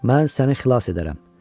mən səni xilas edərəm.